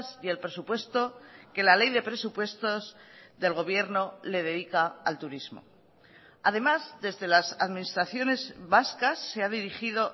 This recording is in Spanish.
y el presupuesto que la ley de presupuestos del gobierno le dedica al turismo además desde las administraciones vascas se ha dirigido